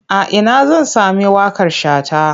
A ina zan sami waƙar Shata?